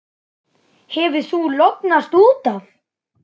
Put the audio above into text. Þú hefur lognast út af!